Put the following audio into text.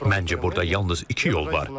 Məncə, burda yalnız iki yol var.